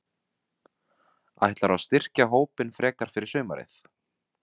Ætlarðu að styrkja hópinn frekar fyrir sumarið?